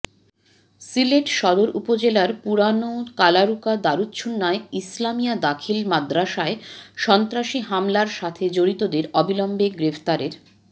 সিলেট সদর উপজেলার পুরান কালারুকা দারুচ্ছুন্নাহ ইসলামিয়া দাখিল মাদরাসায় সন্ত্রাসী হামলার সাথে জড়িতদের অবিলম্বে গ্রেফতারের